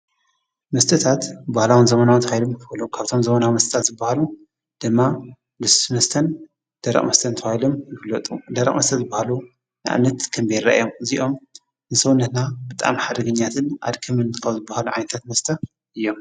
መስተታት ባህላዊ ዘመናውን ተባሂሎም ይፍለጡ። ካብቶም ዘመናዊ መስተታት ዝባህሉ ድማ ልስሉስ መስተን ደረቅ መስተን ተባሂሎም ይፍለጡ። ደረቅ መስተ ዝባህሉ ንኣብነት ከም ቢራ እዮም። እዚኦም ንሰውነትና ብጣዕሚ ሓደገኛታትን ኣድካምትን ካብ ዝባህሉ ዓይነታት መስተ እዮም።